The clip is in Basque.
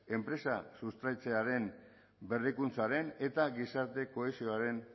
enpresa sustraitzearen berrikuntzaren eta gizarte kohesioaren